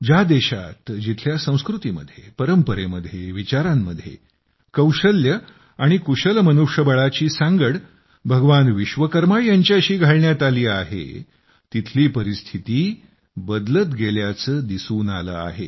ज्या देशात जिथल्या संस्कृतीमध्ये परंपरेमध्ये विचारांमध्ये कौशल्य आणि कुशल मनुष्यबळाची सांगड भगवान विश्वकर्मा यांच्याशी घालण्यात आली आहे तिथली परिस्थिती बदलत गेल्याचे दिसून आले आहे